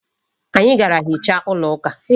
Anyị gara hichaa ụlọ ụka.